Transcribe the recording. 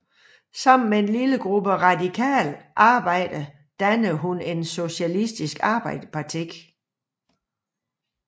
Sammen med en lille gruppe radikale arbejdere dannede hun Socialistisk Arbejderparti